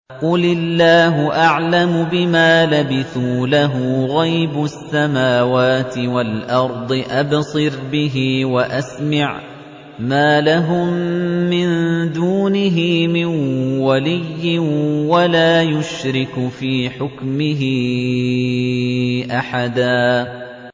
قُلِ اللَّهُ أَعْلَمُ بِمَا لَبِثُوا ۖ لَهُ غَيْبُ السَّمَاوَاتِ وَالْأَرْضِ ۖ أَبْصِرْ بِهِ وَأَسْمِعْ ۚ مَا لَهُم مِّن دُونِهِ مِن وَلِيٍّ وَلَا يُشْرِكُ فِي حُكْمِهِ أَحَدًا